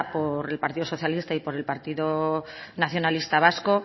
por el partido socialista y el partido nacionalista vasco